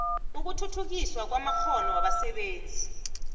ukuthuthukiswa kwamakghono wabasebenzi